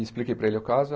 E expliquei para ele o caso.